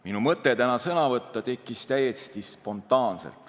Minu mõte täna sõna võtta tekkis täiesti spontaanselt.